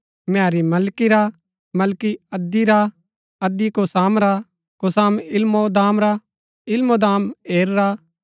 नेरी मलकी रा मलकी अद्दी रा अद्दी कोसाम रा कोसाम इलमोदाम रा इलमोदाम एर रा